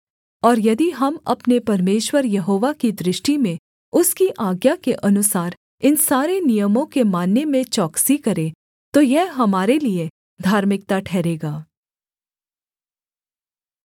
और यदि हम अपने परमेश्वर यहोवा की दृष्टि में उसकी आज्ञा के अनुसार इन सारे नियमों के मानने में चौकसी करें तो यह हमारे लिये धार्मिकता ठहरेगा